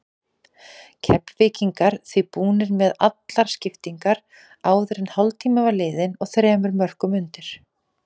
Keflvíkingar því búnir með allar skiptingarnar áður en hálftími var liðinn og þremur mörkum undir.